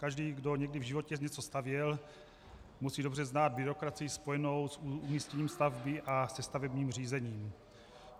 Každý, kdo někdy v životě něco stavěl, musí dobře znát byrokracii spojenou s umístěním stavby a se stavebním řízením.